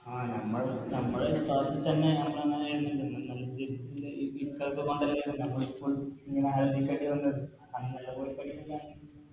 ആ നമ്മൾ നമ്മളെ വിശ്വാസത്തിൽ തന്നെ